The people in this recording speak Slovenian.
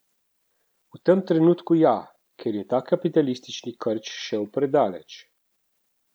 V tem trenutku ja, ker je ta kapitalistični krč šel predaleč.